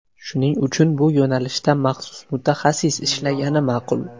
Shuning uchun bu yo‘nalishda maxsus mutaxassis ishlagani ma’qul.